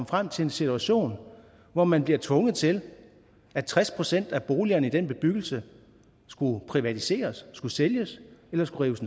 frem til en situation hvor man bliver tvunget til at tres procent af boligerne i den bebyggelse skulle privatiseres skulle sælges eller skulle rives